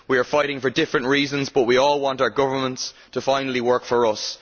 We are fighting for different reasons, but we all want our governments to finally work for us.